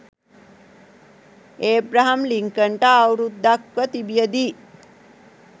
Abraham ලින්කන්ට අවුරුද්දක්ව තිබියදී